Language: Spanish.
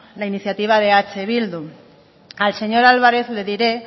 la iniciativa de eh bildu al señor álvarez le diré